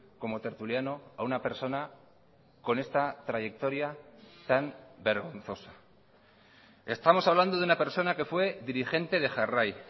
como tertuliano a una persona con esta trayectoria tan vergonzosa estamos hablando de una persona que fue dirigente de jarrai